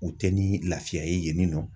U te ni lafiya ye yen ni nɔ